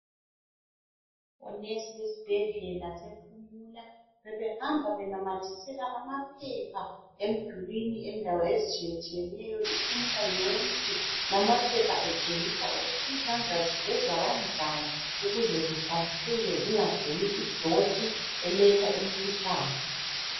Onesi besibhedlela sephumula bebehamba benamathisela amaphepha emdulwini endawo ezitshiyetshiyeneyo I Pumula yonke ,lamaphepha etshengisa ukuthi izandla zigezwa kanjani ukuze zihlambuluke zingagcini idoti eletha imikhuhlane